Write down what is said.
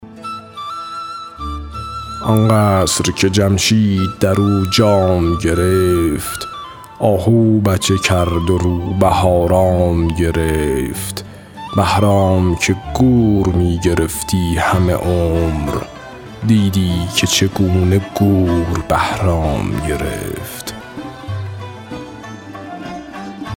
آن قصر که جمشید در او جام گرفت آهو بچه کرد و روبه آرام گرفت بهرام که گور می گرفتی همه عمر دیدی که چگونه گور بهرام گرفت